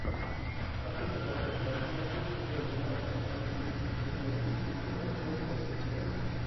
хочу посмотреть трансляцию футбольного матча английской премьер лиги тоттенхэм против челси